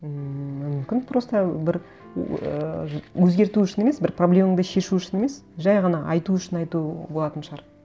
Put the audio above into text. мүмкін просто бір ыыы өзгерту үшін емес бір проблемаңды шешу үшін емес жай ғана айту үшін айту болатын шығар